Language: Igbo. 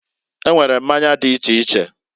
E nwere mmanya di iche iche.